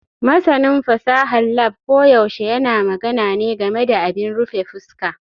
Masanin fasahar lab koyaushe yana magana ne game da abin rufe fuska.